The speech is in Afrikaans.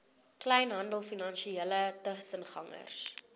kleinhandel finansiële tussengangers